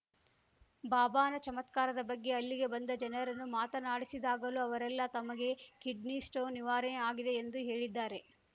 ಬಾಬಾನ ಚಮತ್ಕಾರದ ಬಗ್ಗೆ ಅಲ್ಲಿಗೆ ಬಂದ ಜನರನ್ನು ಮಾತನಾಡಿಸಿದಾಗಲೂ ಅವರೆಲ್ಲಾ ತಮಗೆ ಕಿಡ್ನಿ ಸ್ಟೋನ್‌ ನಿವಾರೆ ಆಗಿದೆ ಎಂದು ಹೇಳಿದ್ದಾರೆ